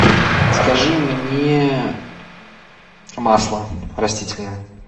закажи мне масло растительное